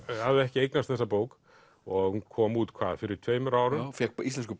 hafði ekki eignast þessa bók og hún kom út hvað fyrir tveim árum fékk Íslensku